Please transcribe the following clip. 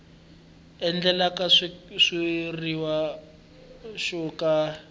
endlaka xitshuriwa xo ka xi